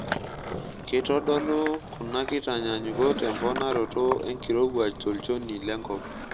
Keitodolu kuna kitanyaanyukot emponaroto enkirowuaj tolchoni lenkop.